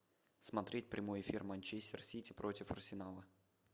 смотреть прямой эфир манчестер сити против арсенала